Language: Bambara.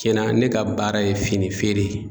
Cɛnna ne ka baara ye fini feere ye